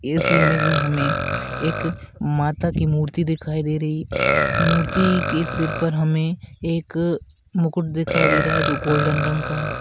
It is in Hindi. इस इमेज में हमे एक माता की मूर्ति दिखाई दे रही मूर्ति के सिर पर हमें एक मुकुट दिखाई दे रहा है जो गोल्डन रंग का है।